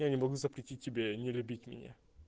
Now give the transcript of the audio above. я не могу запретить тебе не любить меня